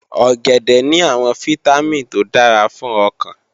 Ọ̀gẹ̀dẹ̀ ní àwọn fítámìn tó dára fún ọkàn